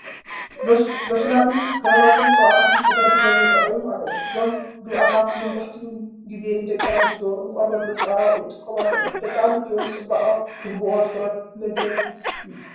ሎሽናት፣ ክሬማትን ቅብኣታትን ተደርዲሮም ይርአዩ ኣለዉ፡፡ እዞም ግብኣታት መብዛሕትኡ ግዜ ደቂ ኣንስትዮ ንቆርበት መፀባበቒ ይጥቀማሎም፡፡ ደቂ ኣንስትዮ ንፅባቐ ዝህቦኦ ትኹረት መግረሚ እዩ፡